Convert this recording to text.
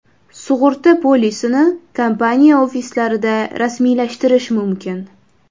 Sug‘urta polisini kompaniya ofislarida rasmiylashtirish mumkin.